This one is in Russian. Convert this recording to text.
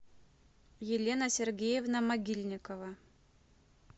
елена сергеевна могильникова